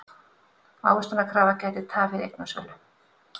Ávöxtunarkrafa gæti tafið eignasölu